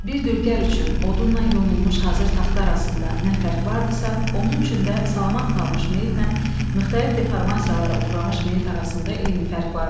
Bir dülgər üçün odunla yonulmuş hazır taxta arasında nə fərq vardısa, onun üçün də salamat qalmış meyitlə müxtəlif deformasiyalara uğramış meyit arasında eyni fərq vardı.